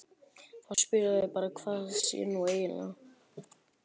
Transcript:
Þá spyrja þau bara hvað það sé nú eiginlega.